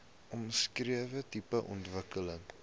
omskrewe tipe ontwikkeling